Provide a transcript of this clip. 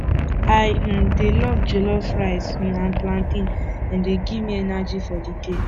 i um dey love jollof rice um and plantain dem dey give me energy for di day